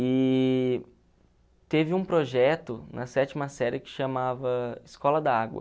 E teve um projeto na sétima série que chamava Escola da Água.